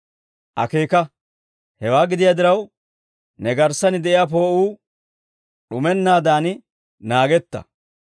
Akeeka; hewaa gidiyaa diraw, ne garssan de'iyaa poo'uu d'umennaadan naagetta.